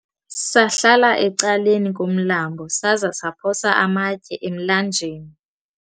sahlala ecaleni komlambo saza saphosa amatye emlanjeni